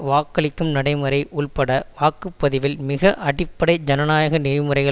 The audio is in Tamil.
வாக்களிக்கும் நடைமுறை உள்பட வாக்கு பதிவில் மிக அடிப்படை ஜனநாயக நெறிமுறைகள்